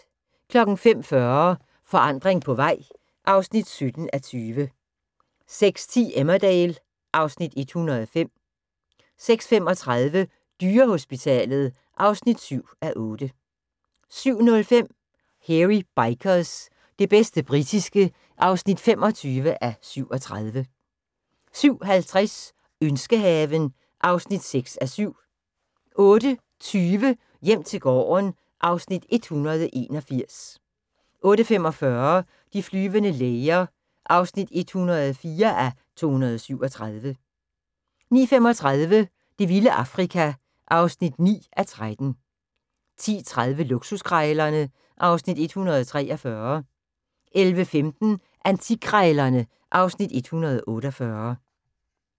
05:40: Forandring på vej (17:20) 06:10: Emmerdale (Afs. 105) 06:35: Dyrehospitalet (7:8) 07:05: Hairy Bikers – det bedste britiske (25:37) 07:50: Ønskehaven (6:7) 08:20: Hjem til gården (Afs. 181) 08:45: De flyvende læger (104:237) 09:35: Det vilde Afrika (9:13) 10:30: Luksuskrejlerne (Afs. 143) 11:15: Antikkrejlerne (Afs. 148)